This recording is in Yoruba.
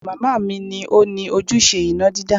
Màmá ni ó ni ojúṣe iná dídá